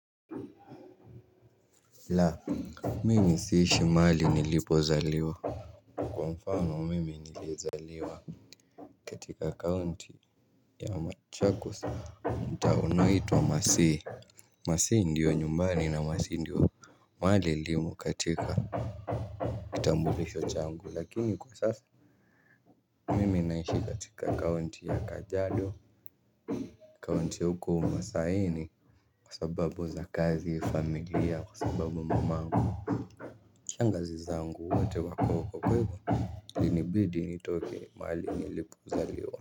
Laa, mimi siishi mahali nilipo zaliwa. Kwa mfano mimi niliezaliwa katika county ya machakos. Mtaa unaitwa masi Masi ndiyo nyumbani na masi ndiyo mahali ilimo katika kitambulisho changu lakini kwa sasa mimi naishi katika county ya kajiado County huko masaini. Kwa sababu za kazi familia kwa sababu mamangu shangazi zangu wote wako nibidi nitoke ni mahali nilipo zaliwa.